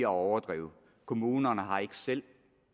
overdrive kommunerne har ikke selv